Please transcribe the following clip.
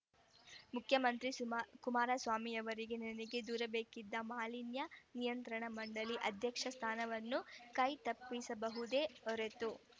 ಮುಖ್ಯಮಂತ್ರಿ ಸುಮ ಕುಮಾರಸ್ವಾಮಿಯವರಿಗೆ ನನಗೆ ದೊರಕಬೇಕಾಗಿದ್ದ ಮಾಲಿನ್ಯ ನಿಯಂತ್ರಣ ಮಂಡಳಿ ಅಧ್ಯಕ್ಷ ಸ್ಥಾನವನ್ನು ಕೈ ತಪ್ಪಿಸಬಹುದೇ ಹೊರತು